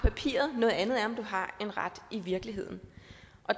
papiret noget andet er om du har en ret i virkeligheden